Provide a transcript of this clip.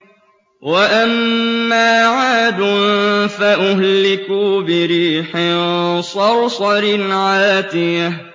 وَأَمَّا عَادٌ فَأُهْلِكُوا بِرِيحٍ صَرْصَرٍ عَاتِيَةٍ